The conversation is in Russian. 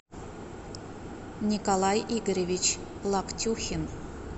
николай игоревич локтюхин